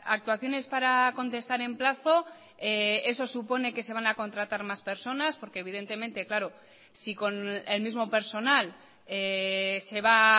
actuaciones para contestar en plazo eso supone que se van a contratar más personas porque evidentemente claro si con el mismo personal se va